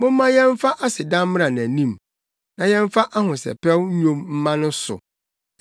Momma yɛmfa aseda mmra nʼanim, na yɛmfa ahosɛpɛw nnwom mma no so.